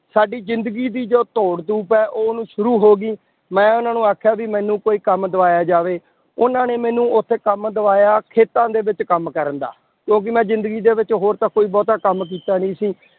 ਸਾਡੀ ਜ਼ਿੰਦਗੀ ਦੀ ਜੋ ਦੌੜ ਧੂਪ ਹੈ, ਉਹ ਨੂੰ ਸ਼ੁਰੂ ਹੋ ਗਈ, ਮੈਂ ਉਹਨਾਂ ਨੂੰ ਆਖਿਆ ਵੀ ਮੈਨੂੰ ਕੋਈ ਕੰਮ ਦਿਵਾਇਆ ਜਾਵੇ, ਉਹਨਾਂ ਨੇ ਮੈਨੂੰ ਉੱਥੇ ਕੰਮ ਦਿਵਾਇਆ, ਖੇਤਾਂ ਦੇ ਵਿੱਚ ਕੰਮ ਕਰਨ ਦਾ ਕਿਉਂਕਿ ਮੈਂ ਜ਼ਿੰਦਗੀ ਦੇ ਵਿੱਚ ਹੋਰ ਤਾਂ ਕੋਈ ਬਹੁਤਾ ਕੰਮ ਕੀਤਾ ਨੀ ਸੀ